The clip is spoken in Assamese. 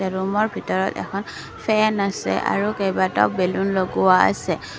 এৰুমৰ ভিতৰত এখন ফেন আছে আৰু কেইবাটাও বেলুন লগোৱা আছে।